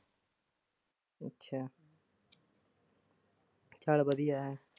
ਅੱਛਾ ਚਲ ਵਧੀਆ ਹੈ।